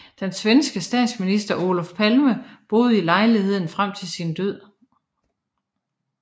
Den svenske statsminister Olof Palme boede i lejligheden frem til sin død